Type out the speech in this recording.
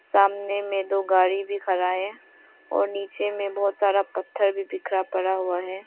सामने में दो गाड़ी भी खड़ा है और नीचे में बहुत सारा पत्थर भी बिखरा पड़ा हुआ है।